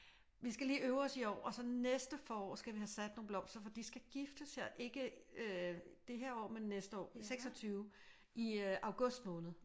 Vi skal lige øve os i år og så næste forår skal vi have sat nogle blomster for de skal giftes her ikke øh det her år men næste år i 26 i august måned